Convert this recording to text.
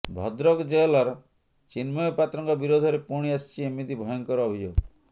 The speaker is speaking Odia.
ଭଦ୍ରକ ଜେଲର୍ ଚିନ୍ମୟ ପାତ୍ରଙ୍କ ବିରୋଧରେ ପୁଣି ଆସିଛି ଏମିତି ଭୟଙ୍କର ଅଭିଯୋଗ